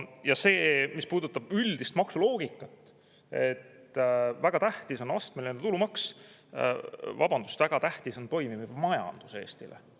Ja see, mis puudutab üldist maksuloogikat, et väga tähtis on astmeline tulumaks – vabandust, Eestile on väga tähtis toimiv majandus!